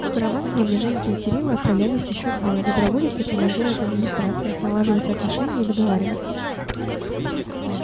в караван кроме женьки и кирилла отправлялись ещё двое доброволец и командир от администрации налаживать отношения и договариваться